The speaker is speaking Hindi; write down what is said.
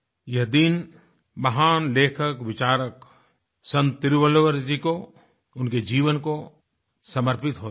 यह दिन महान लेखकविचारक संत तिरुवल्लुवर जी को उनके जीवन को समर्पित होता है